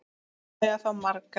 Börnin eiga þá marga